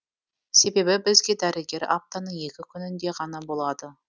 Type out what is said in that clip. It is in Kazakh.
себебі бізге дәрігер аптаның екі күнінде ғана болады